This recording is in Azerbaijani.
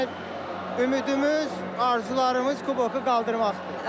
Yəni ümidimiz, arzularımız kuboku qaldırmaqdır.